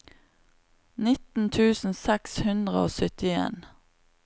nitten tusen seks hundre og syttien